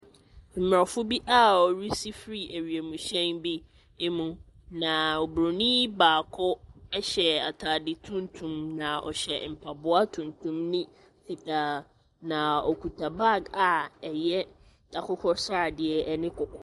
Mmrɔfo bi a wɔresi firi wiemhyɛn mu. Na Oburoni baako hyɛ ataade tuntum na ɔhyɛ mpaboa tuntum ne fitaa. Na okuta bag a ɛyɛ akokɔsrasdeɛ ne kɔkɔɔ.